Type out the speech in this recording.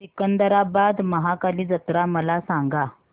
सिकंदराबाद महाकाली जत्रा मला सांगा